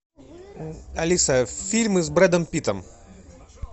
алиса фильмы с брэдом питтом